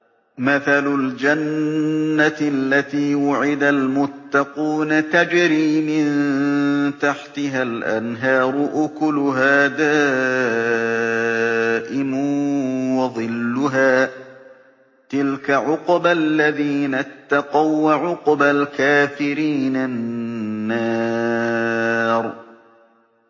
۞ مَّثَلُ الْجَنَّةِ الَّتِي وُعِدَ الْمُتَّقُونَ ۖ تَجْرِي مِن تَحْتِهَا الْأَنْهَارُ ۖ أُكُلُهَا دَائِمٌ وَظِلُّهَا ۚ تِلْكَ عُقْبَى الَّذِينَ اتَّقَوا ۖ وَّعُقْبَى الْكَافِرِينَ النَّارُ